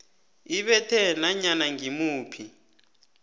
ibethe nanyana ngimuphi